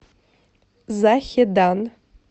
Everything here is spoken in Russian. захедан